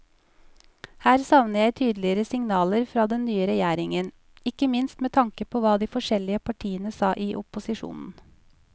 Her savner jeg tydeligere signaler fra den nye regjeringen, ikke minst med tanke på hva de forskjellige partiene sa i opposisjon.